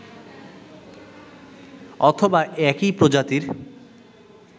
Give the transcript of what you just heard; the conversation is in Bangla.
অথবা একই প্রজাতির